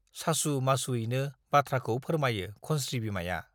सासु मासुयैनो बाथ्राखौ फोरमायो खनस्री बिमाया ।